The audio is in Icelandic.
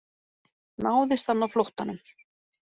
Náðist hann á flóttanum